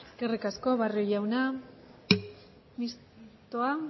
eskerrik asko barrio jauna mistoa